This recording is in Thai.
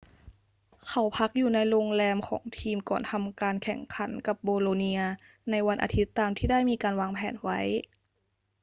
เขาพักอยู่ในโรงแรมของทีมก่อนทำการแข่งขันกับโบโลเนียในวันอาทิตย์ตามที่ได้มีการวางแผนไว้